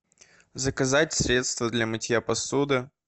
заказать средство для мытья посуды